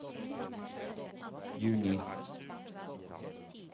juni